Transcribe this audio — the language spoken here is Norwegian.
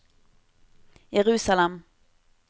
Jerusalem